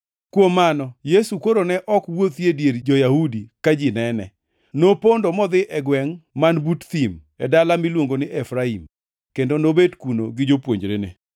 Kuom mano, Yesu koro ne ok wuothi e dier jo-Yahudi ka ji nene. Nopondo modhi e gwengʼ man but thim, e dala miluongo ni Efraim, kendo nobet kuno gi jopuonjrene.